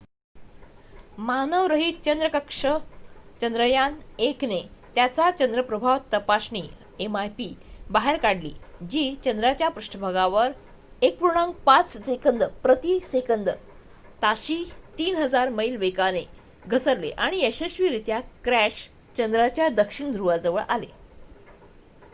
मानवरहित चंद्र कक्षा चंद्रयान -1 ने त्याचा चंद्र प्रभाव तपासणी mip बाहेर काढली जी चंद्राच्या पृष्ठभागावर 1.5 सेकंद प्रति सेकंद ताशी 3000 मैल वेगाने घसरलेआणि यशस्वीरित्या क्रॅश चंद्राच्या दक्षिण ध्रुवाजवळ आले